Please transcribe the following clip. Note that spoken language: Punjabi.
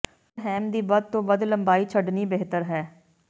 ਪਰ ਹੈਮ ਦੀ ਵੱਧ ਤੋਂ ਵੱਧ ਲੰਬਾਈ ਛੱਡਣੀ ਬਿਹਤਰ ਹੈ